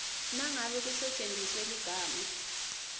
nangabe kusetjentiswe ligama